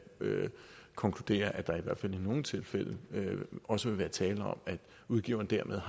konkludere at der i hvert fald i nogle tilfælde også vil være tale om at udgiverne dermed